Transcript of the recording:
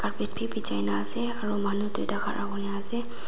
bed bhi bichai na ase aru manu dui tah khara kuri na ase.